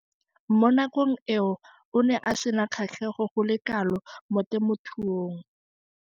Mo nakong eo o ne a sena kgatlhego go le kalo mo temothuong.